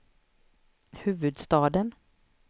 huvudstaden